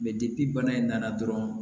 bana in nana dɔrɔn